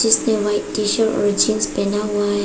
जिसने white T shirt jeans पहना हुआ हैं।